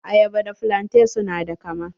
Ayaba da flante su na da kama.